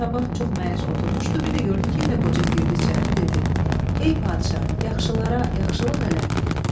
Sabah çox məyus oturmuşdu, bir də gördü ki, yenə qoca girdi içəri, dedi: "Ey padşah, yaxşılara yaxşılıq elə.